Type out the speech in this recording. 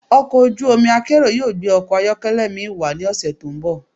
Ọkọ̀ ojú omi akérò yóò gbé ọkọ̀ ayọ́kẹ́lẹ́ mi wá ní ọ̀sẹ̀ tó ń bọ̀.